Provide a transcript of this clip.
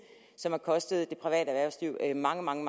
som har kostet det private erhvervsliv mange mange